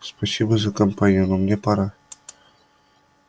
спасибо за компанию но мне пора